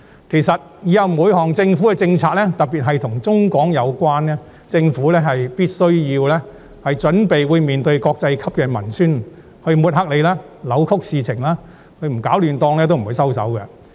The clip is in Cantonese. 其實，往後每一項政府政策，特別是與內地相關的政策，政府必須準備面對國際級文宣的抹黑及扭曲事實，因為他們一天不攪"亂檔"，一天也不會收手。